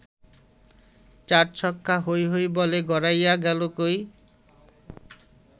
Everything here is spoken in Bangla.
চার ছক্কা হই হই বল গড়াইয়া গেল কই